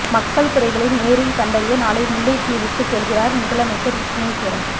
மக்கள் குறைகளை நேரில் கண்டறிய நாளை முல்லைத்தீவுக்குச் செல்கிறார் முதலமைச்சர் விக்கினேஸ்வரன்